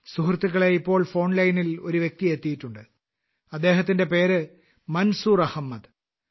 സുഹൃത്തുക്കളേ ഇപ്പോൾ ഫോൺ ലൈനിൽ ഒരു വ്യക്തി എത്തിയിട്ടുണ്ട് അദ്ദേഹത്തിന്റെ പേര് മൻസൂർ അഹമ്മദ്